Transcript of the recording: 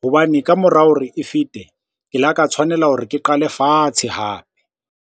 hobane ka mora hore e fete, ke la ka tshwanela hore ke qale fatshe hape.